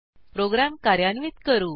program कार्यान्वित करू